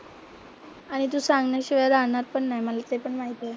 आणि तू सांगितल्याशिवाय राहणार पण नाही मला ते पण माहिती आहे.